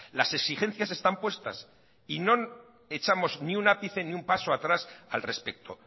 las exigencias están puestas y no echamos ni un ápice ni un paso atrás al respecto